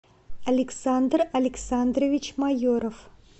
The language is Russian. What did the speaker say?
александр александрович майоров